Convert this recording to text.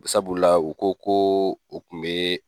Sabula u ko ko u kun be